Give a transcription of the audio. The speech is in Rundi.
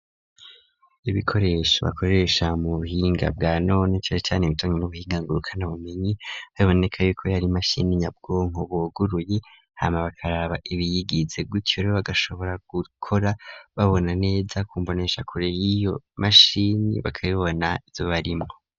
Ibikoresho bakoresha mu buhinga bwa none cane cane ibijanye n'ubuhinga ngurukana bumenyi, biboneka yuko yar'imashini nyabwonko buguruye hama bakaraba ibiyigize guca bagashobora gukora babona neza kumboneshakure iyo mashini bakabibona izobarimo.